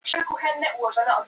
Allt á uppleið